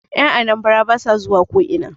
Yan Anambara ba sa zuwa ko'ina